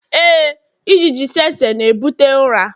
Éè, ijiji tsetse na-ebute ụra.